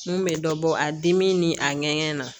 N kun bɛ dɔ bɔ a dimi ni a ŋɛɲɛ na